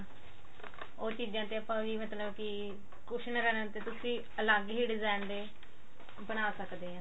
ਉਹ ਚੀਜ਼ਾਂ ਤੇ ਆਪਾਂ ਵੀ ਮਤਲਬ cushion ਤੇ ਤਾਂ ਤੁਸੀਂ ਅਲੱਗ ਹੀ design ਦੇ ਬਣਾ ਸਕਦੇ ਹੋ